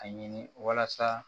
A ɲini walasa